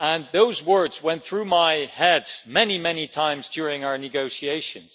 Those words went through my head many times during our negotiations.